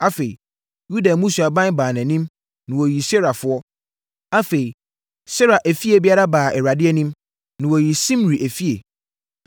Afei Yuda mmusuaban baa anim, na wɔyii Serafoɔ. Afei Sera efie biara baa Awurade anim, na wɔyii Simri efie.